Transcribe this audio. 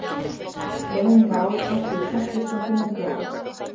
Greinin var áður prentuð í Prentlistin fimm hundruð ára.